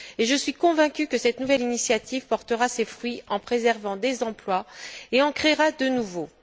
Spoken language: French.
Je suis convaincue que cette nouvelle initiative portera ses fruits en préservant des emplois et qu'elle en créera de nouveaux.